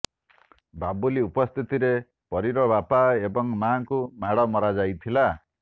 ବାବୁଲି ଉପସ୍ଥିତିରେ ପରୀର ବାପା ଏବଂ ମାଙ୍କୁ ମାଡ଼ ମରା ଯାଇଥିଲା